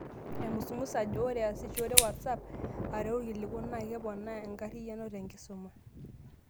Aimusumus ajo ore aasishore whatsapp areu irkiliku, naa keponaa enkariyan te nkisuma.